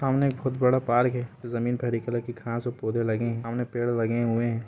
सामने बहुत बड़ा पार्क है जमीन पर हरे कलर की घास और पोधे लगे है सामने पेड़ लगे हुए है।